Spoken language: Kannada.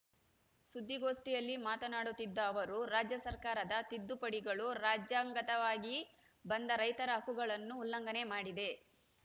ಸುದ್ದಿಗೋಷ್ಠಿಯಲ್ಲಿ ಮಾತನಾಡುತ್ತಿದ್ದ ಅವರು ರಾಜ್ಯ ಸರ್ಕಾರದ ತಿದ್ದುಪಡಿಗಳು ರಾಜ್ಯಾಂಗದತ್ತವಾಗಿ ಬಂದ ರೈತರ ಹಕ್ಕುಗಳನ್ನು ಉಲ್ಲಂಘನೆ ಮಾಡಿದೆ